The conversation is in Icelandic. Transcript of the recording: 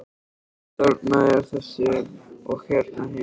Þarna er þessi og hérna hinn.